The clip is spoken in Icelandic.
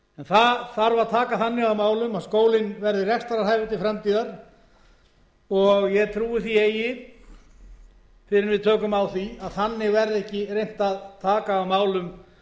þarf að taka þannig á málum að skólinn verði rekstrarhæfur til framtíðar og ég trúi því eigi fyrr en við tökum á því að þannig verði ekki reynt að taka á málum